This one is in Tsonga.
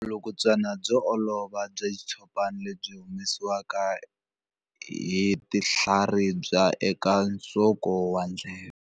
Vulukulutswana byo olova bya xitshopana lebyi byi humesiwaka hi tinhlaribya eka nsoko wa ndleve.